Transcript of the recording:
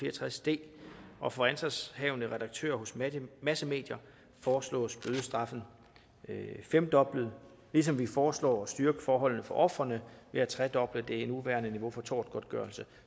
og tres d og for ansvarshavende redaktører hos massemedier foreslås bødestraffen femdoblet ligesom vi foreslår at styrke forholdene for ofrene ved at tredoble det nuværende niveau for tortgodtgørelse